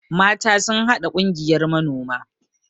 mata sun haɗa Kungiyar manoma